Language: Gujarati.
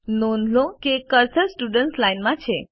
નોંધ લો કે કર્સર સ્ટુડન્ટ્સ લાઇન માં છે